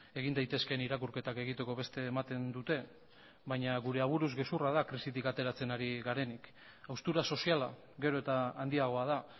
egin daitezkeen irakurketak egiteko beste ematen dute baina gure aburuz gezurra da krisitik ateratzen ari garenik haustura soziala gero eta handiagoa da